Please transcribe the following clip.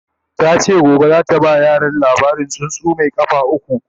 tace gobe zata ba yaran labarin tsuntsu Mai kafa ukwu